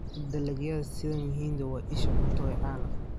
Dalagyada sida mahindi waa isha cunto ee caalamka.